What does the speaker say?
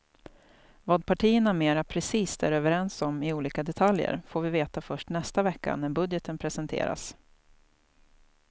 Vad partierna mera precist är överens om i olika detaljer får vi veta först nästa vecka när budgeten presenteras.